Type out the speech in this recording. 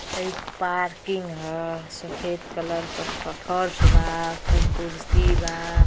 हइ पार्किंग ह सफेद कलर का फ-फर्श बा ऊपर कुर्सी बा।